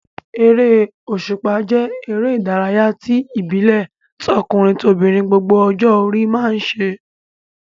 Eré òṣùpá jẹ́ eré ìdárayá ìbílẹ̀ tí tọkùnrin-tobìnrin gbogbo ọjọ́ orí máa ń ṣe.